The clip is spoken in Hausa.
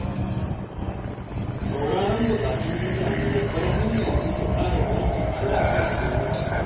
Sauraron buƙatun mutane babbar hanya ce ta ƙara danƙon alaƙa da gwamnati.